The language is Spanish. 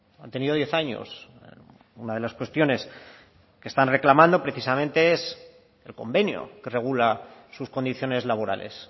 han tenido diez años una de las cuestiones que están reclamando precisamente es el convenio que regula sus condiciones laborales